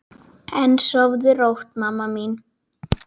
En sofðu rótt, mamma mín.